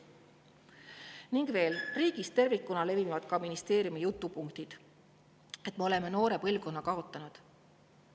Veel: riigis tervikuna levivad ka ministeeriumi jutupunktid, et me oleme noore põlvkonna kaotanud.